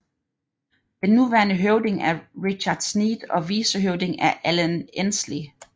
Den nuværende høvding er Richard Sneed og vicehøvding er Alan Ensley